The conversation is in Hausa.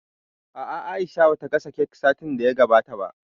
A'a, Aisha ba ta gasa kek satin da ya gabata ba